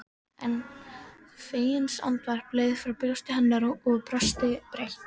En feginsandvarp leið frá brjósti hennar og hún brosti breitt.